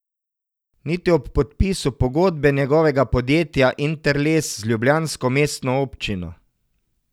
Niti ob podpisu pogodbe njegovega podjetja Interles z ljubljansko mestno občino.